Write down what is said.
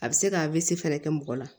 A bɛ se ka fɛnɛ kɛ mɔgɔ la